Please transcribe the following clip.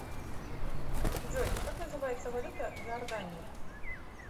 джой как называется валюта в иордании